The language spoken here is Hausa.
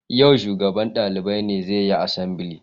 Yau shugaban dalibai ne zai yi asambili